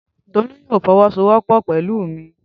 Tolú yóò fọwọ́sowọ́pọ̀ pẹ̀lú mi